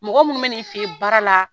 Mɔgɔ minnu bɛ na i fɛ yen baara la